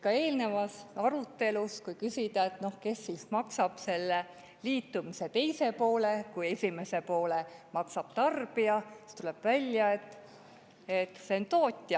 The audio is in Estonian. Ka eelnevas arutelus, kui küsida, et kes maksab selle liitumise teise poole, kui esimese poole maksab tarbija, siis tuleb välja, et see on tootja.